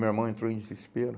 Meu irmão entrou em desespero.